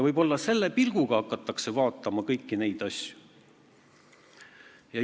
Võib-olla hakatakse vaatama kõiki neid asju selle pilguga.